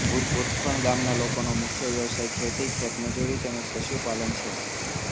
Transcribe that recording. ભુતખણ ગામના લોકોનો મુખ્ય વ્યવસાય ખેતી ખેતમજૂરી તેમ જ પશુપાલન છે